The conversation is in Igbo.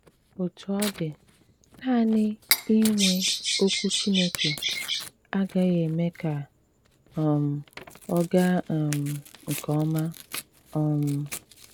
Òtù ọ dị, nanị ìnwè Òkwù Chìnékè agaghị̀ èmé ka um ọ gàà um nke òma. um